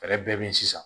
Fɛɛrɛ bɛɛ be yen sisan